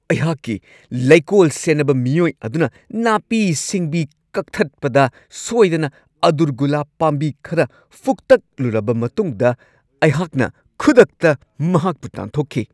ꯑꯩꯍꯥꯛꯀꯤ ꯂꯩꯀꯣꯜ ꯁꯦꯟꯅꯕ ꯃꯤꯑꯣꯏ ꯑꯗꯨꯅ ꯅꯥꯄꯤ- ꯁꯤꯡꯕꯤ ꯀꯛꯊꯠꯄꯗ ꯁꯣꯏꯗꯅ ꯑꯗꯨꯔꯒꯨꯂꯥꯞ ꯄꯥꯝꯕꯤ ꯈꯔ ꯐꯨꯛꯇꯠꯂꯨꯔꯕ ꯃꯇꯨꯡꯗ ꯑꯩꯍꯥꯛꯅ ꯈꯨꯗꯛꯇ ꯃꯍꯥꯛꯄꯨ ꯇꯥꯟꯊꯣꯛꯈꯤ ꯫